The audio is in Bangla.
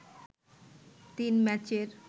তিন ম্যাচের